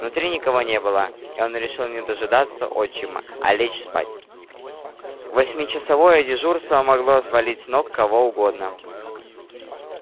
внутри никого не было и он решил не дожидаться отчима а лечь спать восьмичасовое дежурство могло свалить с ног кого угодно